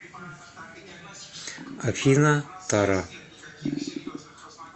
афина тара